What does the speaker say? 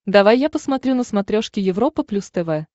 давай я посмотрю на смотрешке европа плюс тв